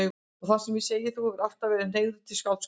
Það er sem ég segi: Þú hefur alltaf verið hneigður til skáldskapar.